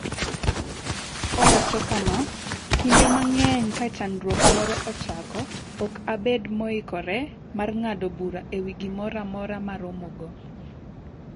Owacho kama: “Kinde mang’eny ka chandruok moro ochako, ok abed moikore mar ng’ado bura e wi gimoro amora ma aromogo.”